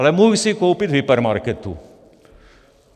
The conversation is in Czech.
Ale mohu si ji koupit v hypermarketu.